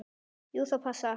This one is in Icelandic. Jú, það passar.